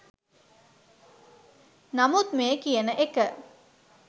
නමුත් මේ කියන එක